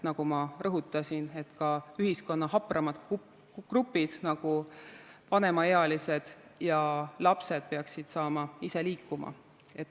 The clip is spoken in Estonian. Nagu ma rõhutasin, ka ühiskonna hapramad grupid, nagu vanemaealised ja lapsed, peaksid saama ise liikuma.